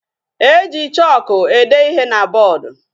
E ji chooku ede ihe na boodu.